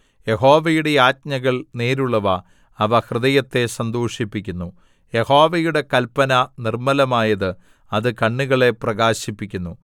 യഹോവയുടെ ആജ്ഞകൾ നേരുള്ളവ അവ ഹൃദയത്തെ സന്തോഷിപ്പിക്കുന്നു യഹോവയുടെ കല്പന നിർമ്മലമായത് അത് കണ്ണുകളെ പ്രകാശിപ്പിക്കുന്നു